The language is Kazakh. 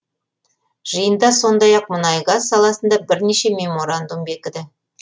жиында сондай ақ мұнай газ саласында бірнеше меморандум бекіді